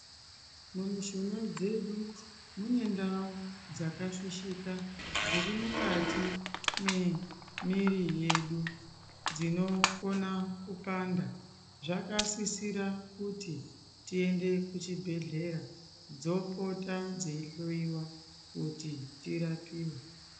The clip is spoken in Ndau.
Mumushuna dzedu mune ndau dzakafishika dziri mukati mwemuviri yedu dzinokona kupanda zvakasisira kuti tiende kuchibhedhlera dzepota dzeyi hloyiwa kuti dzirapiwe.